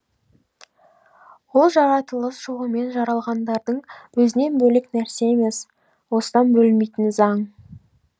ол жаратылыс жолымен жаралғандардың өзінен бөлек нәрсе емес осыдан бөлінбейтін заң